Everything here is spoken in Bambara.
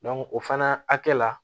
o fana hakɛ la